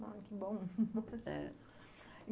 Ah, que bom! É.